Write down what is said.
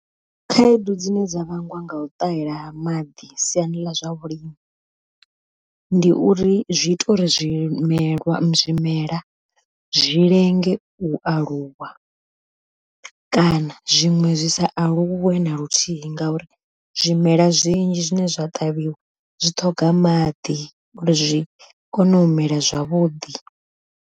Khaedu dzine dza vhangwa nga u ṱahela ha maḓi siani ḽa zwa vhulimi, ndi uri zwi ita uri zwimelwa zwimela zwi lenge u aluwa, kana zwiṅwe zwisa aluwe na luthihi ngauri zwimela zwinzhi zwine zwa ṱavhiwa zwi ṱhoga maḓi uri zwi kone u mela zwavhuḓi.